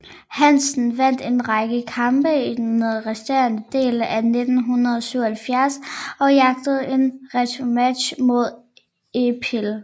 Hansen vandt en række kampe i den resterende del af 1977 og jagtede en returmatch mod Eipel